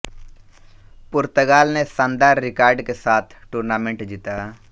पुर्तगाल ने शानदार रिकॉर्ड के साथ टूर्नामेंट जीता